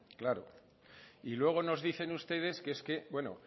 claro y luego nos dicen ustedes que es que bueno